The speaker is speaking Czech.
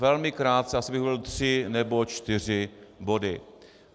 Velmi krátce, asi bych volil tři nebo čtyři body.